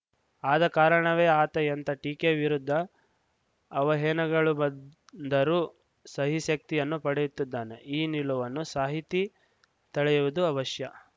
ಆದ ಕಾರಣವೇ ಆತ ಎಂಥ ಟೀಕೆ ವಿರುದ್ದ ಅವಹೇನಗಳು ಬಂದರೂ ಸಹಿಸುವ ಶಕ್ತಿಯನ್ನು ಪಡೆಯುತ್ತಾನೆ ಈ ನಿಲುವನ್ನು ಸಾಹಿತಿ ತಳೆಯುವುದು ಅವಶ್ಯ